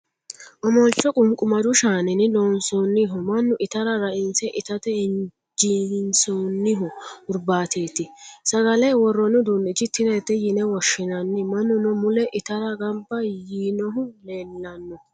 Omolcho qumqumadu shaaninni loonsoonniho. Mannu itara rainse itate injeessinoonni hurbaateeti. Sagale worroonni uduunnicho tirete yine woshshinanni. Mannuno mule itara gba yiinohu leellanno.